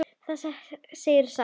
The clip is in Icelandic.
Það segirðu satt.